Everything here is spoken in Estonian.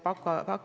Austatud minister!